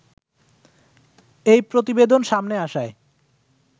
এই প্রতিবেদন সামনে আসায়